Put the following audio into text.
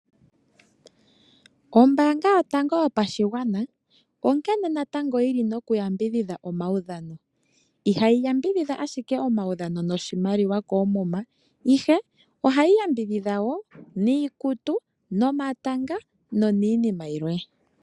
Ombaanga yotango yopashigwana onkene natango yi li nokuyambidhidha omaudhano. Ihayi yambidhidha ashike omaudhano koomuma, ihe ohayi yambidhidha niikutu, nomatanga noniinima yilwe.